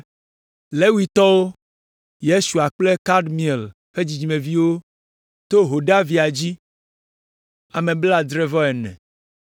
Levitɔwo: Yesua kple Kadmiel ƒe dzidzimeviwo to Hodavia dzi, ame blaadre-vɔ-ene (74).